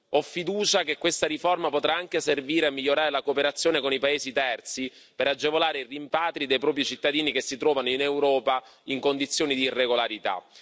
Ho fiducia che questa riforma potrà anche servire a migliorare la cooperazione con i paesi terzi per agevolare i rimpatri dei propri cittadini che si trovano in Europa in condizioni di irregolarità.